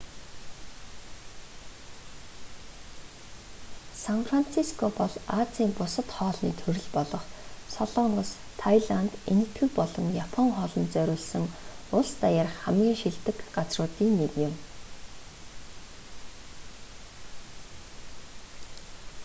сан франциско бол азийн бусад хоолны төрөл болох солонгос тайланд энэтхэг болон япон хоолонд зориулсан улс даяарх хамгийн шилдэг газруудын нэг юм